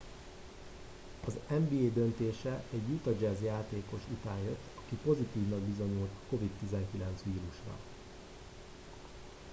az nba döntése egy utah jazz játékos után jött aki pozitívnak bizonyult a covid-19 vírusra